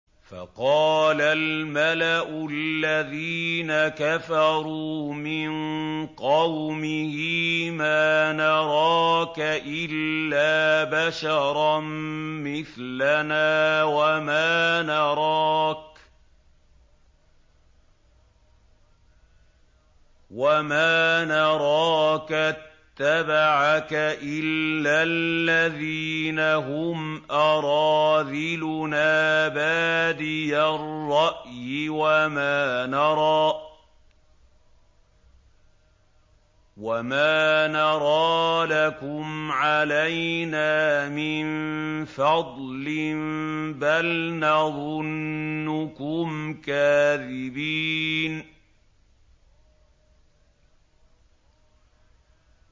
فَقَالَ الْمَلَأُ الَّذِينَ كَفَرُوا مِن قَوْمِهِ مَا نَرَاكَ إِلَّا بَشَرًا مِّثْلَنَا وَمَا نَرَاكَ اتَّبَعَكَ إِلَّا الَّذِينَ هُمْ أَرَاذِلُنَا بَادِيَ الرَّأْيِ وَمَا نَرَىٰ لَكُمْ عَلَيْنَا مِن فَضْلٍ بَلْ نَظُنُّكُمْ كَاذِبِينَ